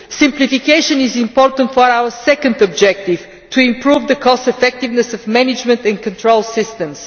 Simplification is important for our second objective to improve the cost effectiveness of management and control systems.